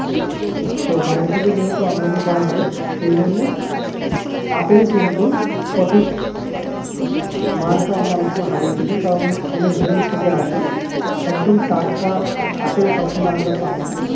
তো বাইরে থেকে যেহেতু আমদানি করা হয় সেইজন্যে আপেল কিন্তু সঠিক মানটা আমরা অনেক সময় হারিয়ে ফেলি কারণ অনেক দূর থেকে আসে একদম টাটকা আপেল আমরা সবসময় পাইনা।